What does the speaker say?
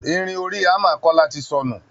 Irin orí hammer Kọ́lá ti sọnù